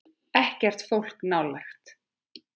Ekkert fólk nálægt.